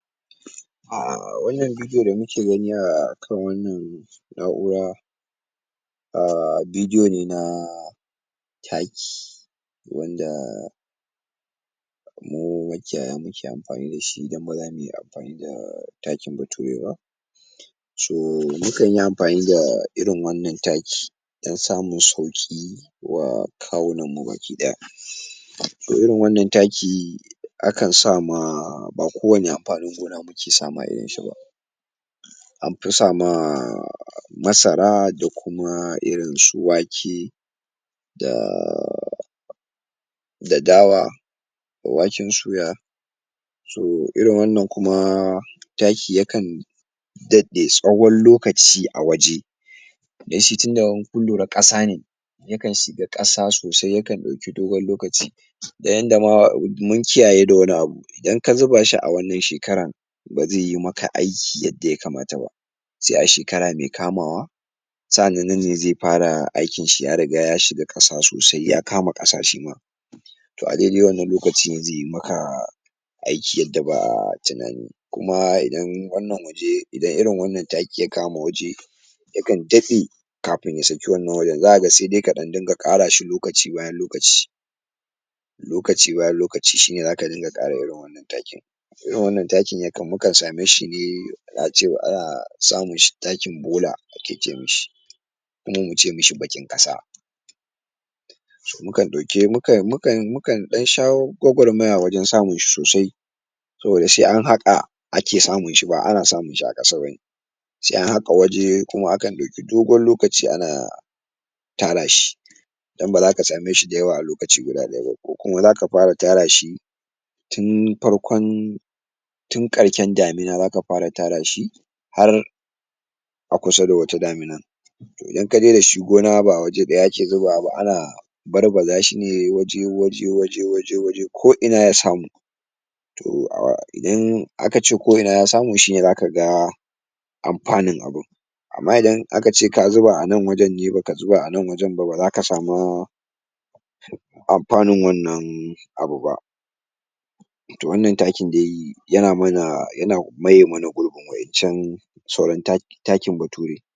Ah Wannan bidiyo da muke gani akan wannan na'ura Ah bidiyo ne na Taki wanda mu makiyaya muke amfani dashi idan ba zamuyi amfani da takin bature ba co, mukan yi amfani da irin wannan taki dan samun sauƙi wa kawunan mu baki ɗaya to irin wannan taki, akan sama, ba kowanne amfanin gona muke sama irin shi ba anfi sama, Masara da kuma irin su Wake da da Dawa waken suya so irin wannan kuma taki yakan daɗe tsawon lokaci a waje danshi tunda in kun lura ƙasa ne yakan shiga ƙasa sosai, yakan ɗauki dogon lokaci da yadda ma, mun kiyaye da wani abu, idan ka zuba shi a wannan shekaran ba zaiyi ma aiki yadda yakamata ba sai a shekara me kamawa sa'ilin ne zai safa aikin shi, ya riga ya shiga ƙasa sosai, ya kama ƙasa shima to a daidai wannan loakci zai ma aiki yadda ba'a tunani kuma idan wannan waje, idan irin taki ya kama waje yakan dade kafin ya saki wannan waje, zaka ga sai dai ka dunga ƙarashi lokaci bayan lokaci lokaci bayan lokaci shine zaka dunga ƙara irin wannan takin to irin wannan taka yakan mukan same shi ne, Aj ce Aj samin shi takin bola ake ce mishi kuma muce mishi baƙin ƙasa mukan ɗauke, mukan mukan mukan ɗan shawo gwawarmaya wajan samun shi sosai saboda sai na haƙa ake samun shi, ba ana samun shi a ƙasa bane sai an haƙa waje kuma akan ɗauki dogon lokaci ana tara shi dan baza ka same shi da yawa a lokaci guda ba [in Audible] ko kuma zaka fara tara shi tun farkon tun ƙarshin damina zaka fara tara shi har a kusa da wata daminar to idan kaje dashi gona ba waje ɗaya ake zubawa ba, ana barbaza shi ne waje waje waje waje waje ko ina ya samu to ah, indan akace ko ina ya samu shine zaka ga amfanin abu amma idan a kace ka zuba a nan wajen ne, baka zuba a nan wajan ba, ba zaka samu anfanun wannan abu ba to wannan takin dai yana mana, yana maye mana gurbin wa'yan can sauran ta takin bature